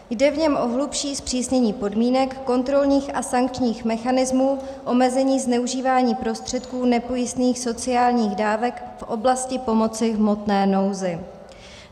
Jde v něm o hlubší zpřísnění podmínek kontrolních a sankčních mechanismů, omezení zneužívání prostředků nepojistných sociálních dávek v oblasti pomoci v hmotné nouzi.